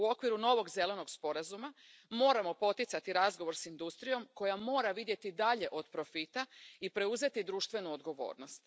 U okviru novog zelenog sporazuma moramo poticati razgovor s industrijom koja mora vidjeti dalje od profita i preuzeti društvenu odgovornost.